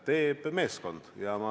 Teeb meeskond.